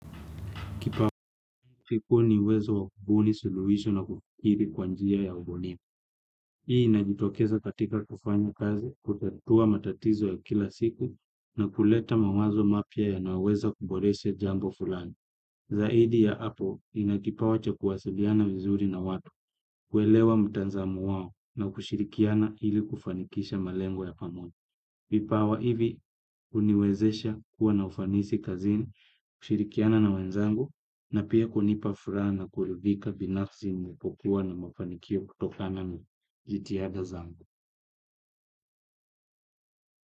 Kipawa kikuu ni uwezo wa kubuni suluisho na kukiri kwa njia ya ubunifu. Hii inajitokeza katika kufanya kazi kutatua matatizo ya kila siku na kuleta mawazo mapya yanaweza kuboreshe jambo fulani. Zaidi ya apo nina kipawa cha kuwasiliana vizuri na watu, kuelewa mtanzamo wao na kushirikiana ili kufanikisha malengo ya pamoja. Vipawa hivi uniwezesha kuwa na ufanisi kazini, kushirikiana na wenzangu na pia kunipa fura na kuridhika binafsi ninapokuwa na mafanikio kutokana na jitihada zangu.